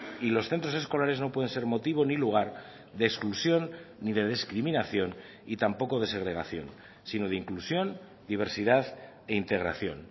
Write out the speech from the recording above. y los centros escolares no pueden ser motivo ni lugar de exclusión ni de discriminación y tampoco de segregación sino de inclusión diversidad e integración